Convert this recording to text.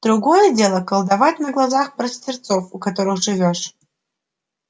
другое дело колдовать на глазах простецов у которых живёшь